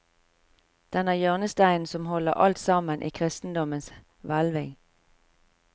Den er hjørnesteinen som holder alt sammen i kristendommens hvelving.